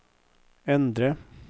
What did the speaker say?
endre